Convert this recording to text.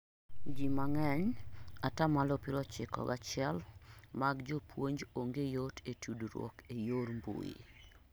ji mang'eny (atamalo piero ochiko gachiel)mag jpuonj onge yot e tudruok e yor mbuyi